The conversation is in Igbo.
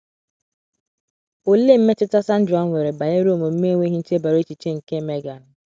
Olee mmetụta Sandra nwere banyere omume enweghị nchebara echiche nke Megan?